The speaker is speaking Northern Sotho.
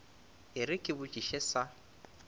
e re ke botšiše sa